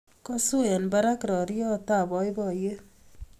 Kosu eng barak roriot ab boiboiyet